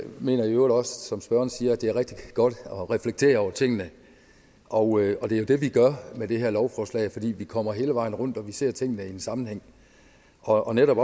mener i øvrigt også som spørgeren siger at det er rigtig godt at reflektere over tingene og det er jo det vi gør med det her lovforslag fordi vi kommer hele vejen rundt og vi ser tingene i en sammenhæng og netop